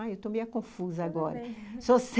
Ai, eu estou meio confusa agora. Tudo bem,